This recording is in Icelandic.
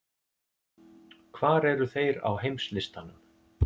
Hvar eru þeir á heimslistanum?